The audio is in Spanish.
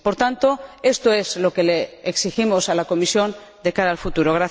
Por tanto, esto es lo que le exigimos a la Comisión de cara al futuro.